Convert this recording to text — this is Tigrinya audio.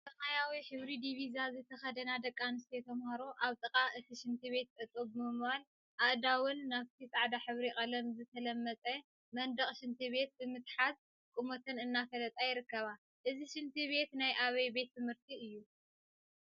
ሰማያዊ ሕብሪ ዲቪዛ ዝተከደና ደቂ አንስተዮ ተምሃሮ አብ ጥቃ እቲ ሽንት ቤት ጠጠው ብምባል አእዳወን ናብቲ ፃዕዳ ሕብሪ ቀለም ዝተለመፀ መንደቅ ሽንቲ ቤት ብምትሓዝ ቁመተን እናፈለጣ ይርከባ፡፡ እዚ ሽንት ቤት ናይ አበይ ቤት ትምህርቲ እዩ?